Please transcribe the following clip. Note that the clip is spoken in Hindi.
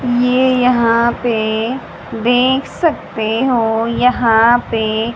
ये यहां पे देख सकते हो यहां पे--